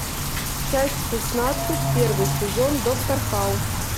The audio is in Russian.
часть шестнадцать первый сезон доктор хаус